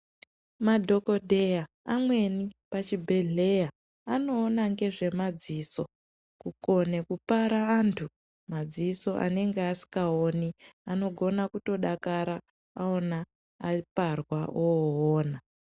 Madhokodheya amweni pachibhedhleya anoona ngezvemadziso kukone kupara antu madziso anenge asikaoni. Anogona kutodakara madziso aparwa oona.